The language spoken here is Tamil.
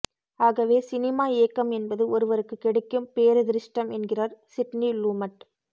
ஆகவே சினிமா இயக்கம் என்பது ஒருவருக்குக் கிடைக்கும் பேரதிர்ஷடம் என்கிறார் சிட்னி லூமட்